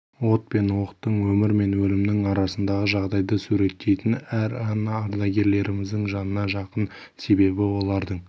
от пен оқтың өмір мен өлімнің арасындағы жағдайды суреттейтін әр ән ардагерлеріміздің жанына жақын себебі олардың